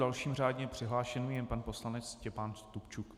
Dalším řádně přihlášeným je pan poslanec Štěpán Stupčuk.